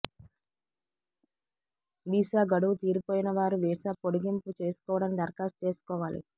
visa గడువు తీరిపోయిన వారు వీసా పొడిగింపు చేసుకోవడానికి దరఖాస్తు చేసుకోవాలి